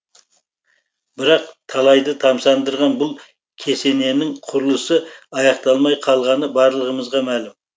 бірақ талайды тамсандырған бұл кесененің құрылысы аяқталмай қалғаны барлығымызға мәлім